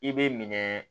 I bɛ minɛ